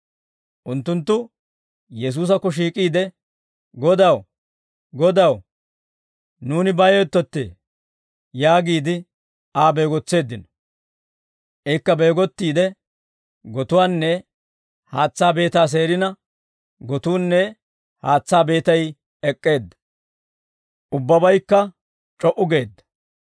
Unttunttu Yesuusakko shiik'iide, «Godaw, Godaw! Nuuni bayoyttettee!» yaagiide Aa beegotseeddino. Ikka beegottiide gotuwaanne haatsaa beetaa seerina, gotuunne haatsaa beetay ek'k'eedda; ubbabaykka c'o"u geedda.